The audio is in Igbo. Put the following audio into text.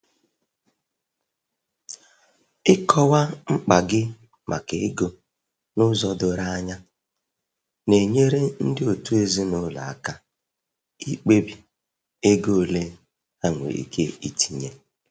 Ịkọwa mkpa gị maka ego n'ụzọ doro anya na-enyere ndị òtù ezinụlọ aka ikpebi ego ole ha nwere ike itinye.